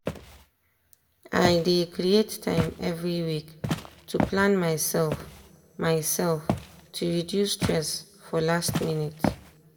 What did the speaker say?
i dey create time every week to plan myself myself to reduce stress for last minute.